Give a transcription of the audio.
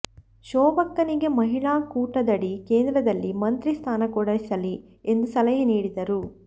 ಶೋಭಕ್ಕನಿಗೆ ಮಹಿಳಾ ಕೋಟಾದಡಿ ಕೇಂದ್ರದಲ್ಲಿ ಮಂತ್ರಿ ಸ್ಥಾನ ಕೊಡಿಸಲಿ ಎಂದು ಸಲಹೆ ನೀಡಿದರು